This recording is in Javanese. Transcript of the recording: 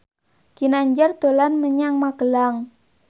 Ginanjar dolan menyang Magelang